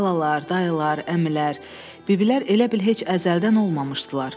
Xalalar, dayılar, əmilər, biblər elə bil heç əzəldən olmamışdılar.